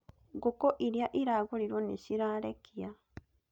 Ngũkũ iria iragũrirwo nĩ cirarekia